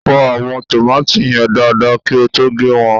fọ àwọn tòmátì yen dada kí o tó gé won